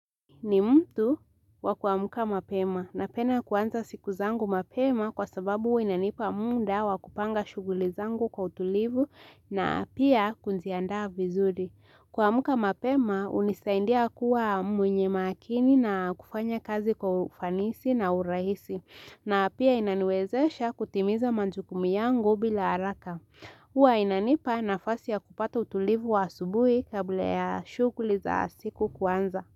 Ni mtu wa kuamka mapema napenda kuanza siku zangu mapema kwa sababu inanipa muda wakupanga shughuli zangu kwa utulivu na pia kuziandaa vizuri. Kuamka mapema hunisaidia kuwa mwenye makini na kufanya kazi kwa ufanisi na urahisi na pia inaniwezesha kutimiza majukumu yangu bila haraka. Huwa inanipa nafasi ya kupata utulivu wa asubuhi kabla ya shughuli za siku kuanza.